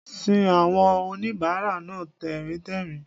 sin àwọn oníbàárà náà tẹ̀ríntẹ̀rín